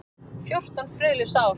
Fjórtán friðlaus ár.